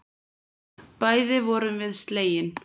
Bæði vorum við slegin.